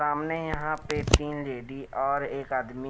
सामने यहाँ पे तीन लेडी और एक आदमी--